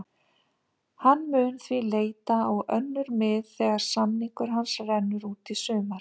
Hann mun því leita á önnur mið þegar samningur hans rennur út í sumar.